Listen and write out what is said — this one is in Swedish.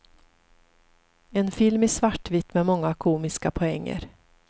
En film i svartvitt med många komiska poänger.